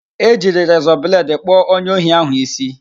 E jiri rezọ bledị kpụọ onye ohi ahụ ísí